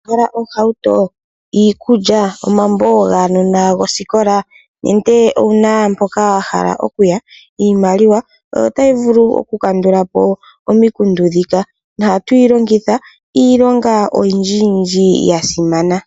Ohauto, iikulya, omambo gaanona gosikola, nenge owu na mpoka wahala oku ya, iimaliwa oyo ta yi vulu oku kandulapo omikundu ndhika, no hatu yi longitha iilonga oyindji yasimana.